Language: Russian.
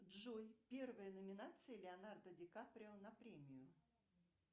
джой первая номинация леонардо ди каприо на премию